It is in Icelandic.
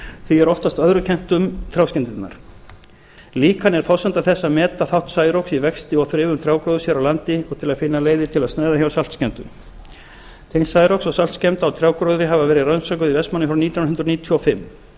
því er oftast öðru kennt um trjáskemmdirnar líkan er forsenda þess að meta þátt særoks í vexti og þrifum trjágróðurs hér á landi og til að finna leiðir til að sneiða hjá saltskemmdum tengsl særoks og saltskemmda á trjágróðri hafa verið rannsökuð í vestmannaeyjum frá árinu nítján hundruð níutíu og fimm